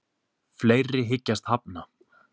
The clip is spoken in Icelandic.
Fleiri hyggjast hafna